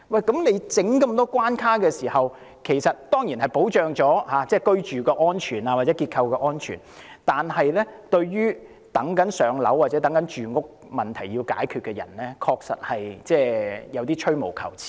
設立這麼多關卡，當然可以保障居住或結構安全，但對於正在輪候入住公屋或想解決住屋問題的人，我覺得確實有點兒吹毛求疵。